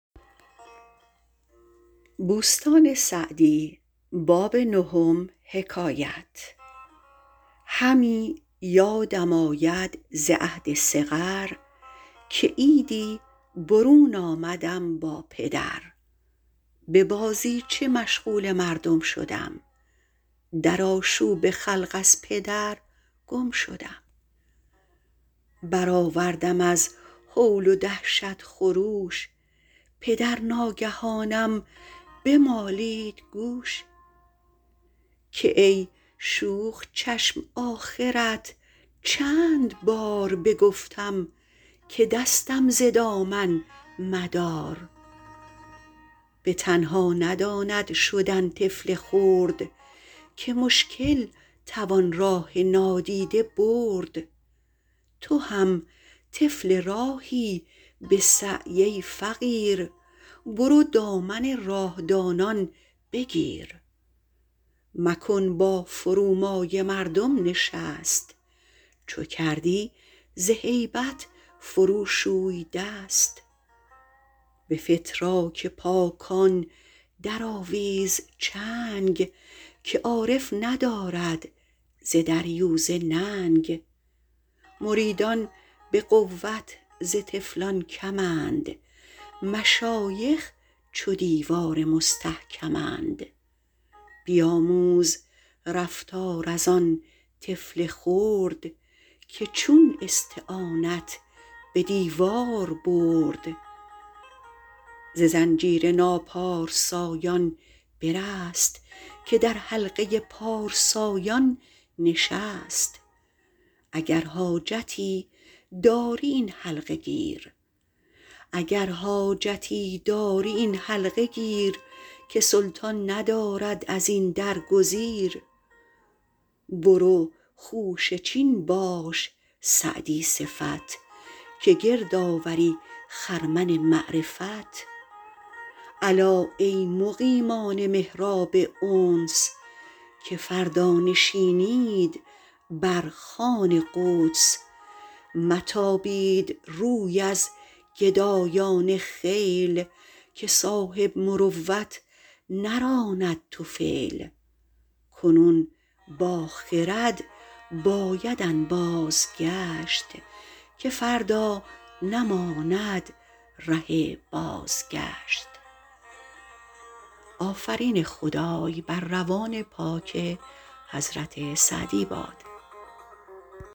همی یادم آید ز عهد صغر که عیدی برون آمدم با پدر به بازیچه مشغول مردم شدم در آشوب خلق از پدر گم شدم برآوردم از هول و دهشت خروش پدر ناگهانم بمالید گوش که ای شوخ چشم آخرت چند بار بگفتم که دستم ز دامن مدار به تنها نداند شدن طفل خرد که مشکل توان راه نادیده برد تو هم طفل راهی به سعی ای فقیر برو دامن راه دانان بگیر مکن با فرومایه مردم نشست چو کردی ز هیبت فرو شوی دست به فتراک پاکان درآویز چنگ که عارف ندارد ز دریوزه ننگ مریدان به قوت ز طفلان کمند مشایخ چو دیوار مستحکمند بیاموز رفتار از آن طفل خرد که چون استعانت به دیوار برد ز زنجیر ناپارسایان برست که در حلقه پارسایان نشست اگر حاجتی داری این حلقه گیر که سلطان ندارد از این در گزیر برو خوشه چین باش سعدی صفت که گرد آوری خرمن معرفت الا ای مقیمان محراب انس که فردا نشینید بر خوان قدس متابید روی از گدایان خیل که صاحب مروت نراند طفیل کنون با خرد باید انباز گشت که فردا نماند ره بازگشت